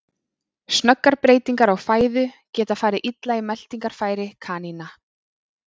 Snöggar breytingar á fæðu geta farið illa í meltingarfæri kanína.